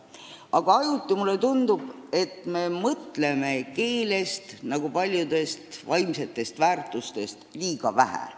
Aga ajuti mulle tundub, et me mõtleme keelest nagu paljudest vaimsetest väärtustest liiga vähe.